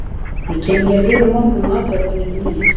Ég kem hér við á morgun og athuga hvernig ykkur miðar.